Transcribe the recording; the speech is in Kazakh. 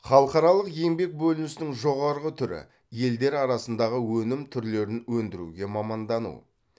халықаралық еңбек бөлінісінің жоғарғы түрі елдер арасындағы өнім түрлерін өндіруге мамандану